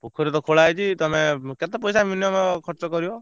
ପୋଖରୀ ତ ଖୋଳା ହେଇଛି ତମେ କେତେ ପଇସା minimum ଖର୍ଚ କରିବ?